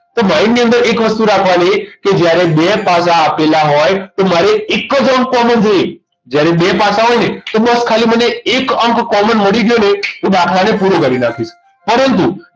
તો mind ની અંદર એક વસ્તુ રાખવાની કે જ્યારે બે પાસા આપેલા હોય તો મારે એક જ અંક common જોઈએ જ્યારે બે પાસા હોય ને તો બસ ખાલી મને એક અંક common મળી ગયો ને તો દાખલાને પૂરો કરી નાખ્યું પરંત